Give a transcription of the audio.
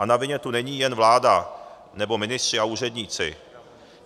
A na vině tu není jen vláda nebo ministři a úředníci.